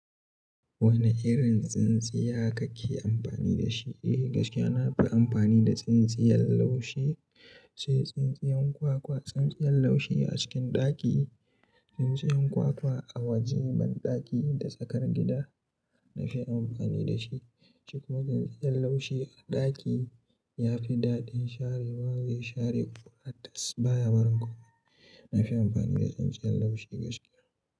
Wane irin tsintsiya kake amfani da shi? Eh gaskiya, na fi amfani da tsintsiyan laushi, sai tsintsiyan kwa-kwa. Tsintsiyan laushi a cikin ɗaki, tsintsiyan kwa-kwa a wajen da banɗaki da tsakar gida na fi amfani da shi. Shi kuma tsintsiyan laushi a ɗaki ya fi daɗin sharewa, zai share ƙura tas baya barin komai. Na fi amfani da tsintsiyan laushi gaskiya.